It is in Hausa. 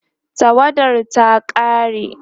tawadar ta ƙare